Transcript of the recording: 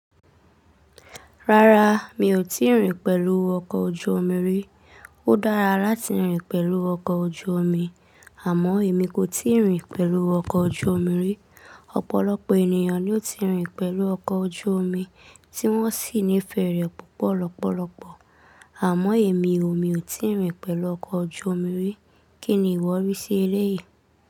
Rárá, mi ò tíì rìn pẹ̀lú ọkọ̀ ojú omi rí. Ó dára láti rìn pẹ̀lú ọkọ̀ ojú omi, àmọ́ èmi kò tíì rìn pẹ̀lú ọkọ̀ ojú omi rí. Ọ̀pọ̀lọpọ̀ ènìyàn ni ó ti rìn pẹ̀lú ọkọ̀ ojú omi, tí wọ́n sì nífẹ̀ẹ́ rẹ̀ púpọ̀ lọ́pọ̀lọpọ̀, àmọ́ èmi o, mi ò tíì rìn pẹ̀lú ọkọ̀ ojú omi rí. Kí ni ìwọ rí sí elé yìí?